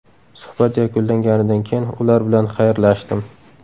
Suhbat yakunlanganidan keyin ular bilan xayrlashdim.